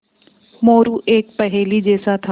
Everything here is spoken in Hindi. मोरू एक पहेली जैसा था